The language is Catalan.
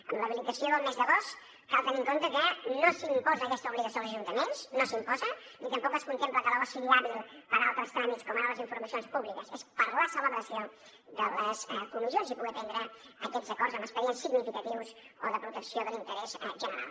amb l’habilitació del mes d’agost cal tenir en compte que no s’imposa aquesta obligació als ajuntaments no s’imposa ni tampoc es contempla que l’agost sigui hàbil per a altres tràmits com ara les informacions públiques és per a la celebració de les comissions i poder prendre aquests acords en expedients significatius o de protecció de l’interès general